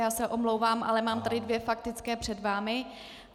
Já se omlouvám, ale mám tady dvě faktické před vámi.